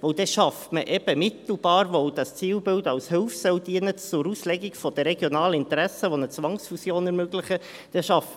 Denn dann schafft man eben mittelbar, dass dieses Zielbild als Hilfe zur Auslegung der regionalen Interessen, die eine Zwangsfusion ermöglichen, dienen soll.